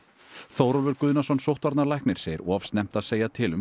Þórólfur Guðnason sóttvarnalæknir segir of snemmt að segja til um